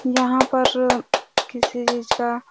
यहाँ पर किसी चीज़ का--